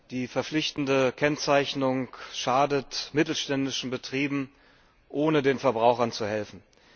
Die verpflichtende Kennzeichnung schadet mittelständischen Betrieben, ohne den Verbrauchern zu helfen.